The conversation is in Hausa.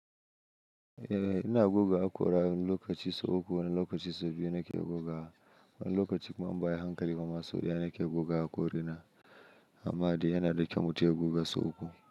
Eh ina guga haƙora, wani lokaci sau uku wani lokaci sau biyu nake guga wa. Wani lokaci kuma in ba ayi hankali bama sau daya nake goga haƙori na. Amma dai yanada kyau mutum ya goga sau uku.